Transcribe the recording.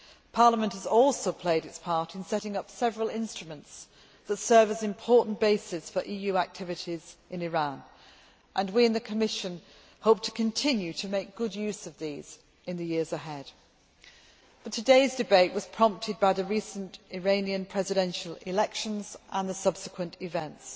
Parliament has also played its part in setting up several instruments that serve as an important basis for EU activities in Iran, and we in the Commission hope to continue to make good use of these in the years ahead. Today's debate was prompted by the recent Iranian presidential elections and the subsequent events.